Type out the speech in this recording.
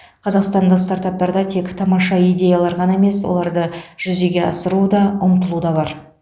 қазақстандық стартаптарда тек тамаша идеялар ғана емес оларды жүзеге асыруға ұмтылу да бар